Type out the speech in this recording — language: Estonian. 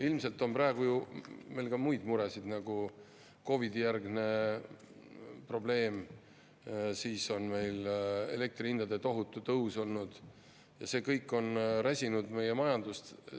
Ilmselt on praegu ju meil ka muid muresid, nagu COVID‑i järgne probleem, siis on meil elektri hindade tohutu tõus olnud ja see kõik on räsinud meie majandust.